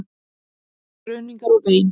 Skruðningar og vein.